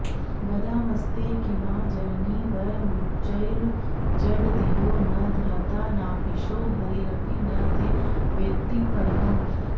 वदामस्ते किंवा जननि वयमुच्चैर्जडधियो न धाता नापीशो हरिरपि न ते वेत्ति परमम्